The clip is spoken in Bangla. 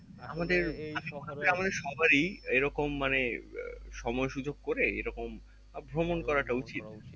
সবার ই এইরকম মানে আহ সময় সুযোগ করে এইরকম আহ ভ্রমণ